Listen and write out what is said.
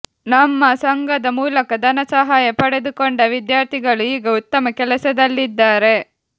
ನಮ್ಮ ಸಂಘದ ಮೂಲಕ ಧನ ಸಹಾಯ ಪಡೆದುಕೊಂಡ ವಿದ್ಯಾರ್ಥಿಗಳು ಈಗ ಉತ್ತಮ ಕೆಲಸದಲ್ಲಿದ್ದಾರೆ